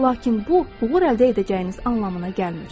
Lakin bu, uğur əldə edəcəyiniz anlamına gəlmir.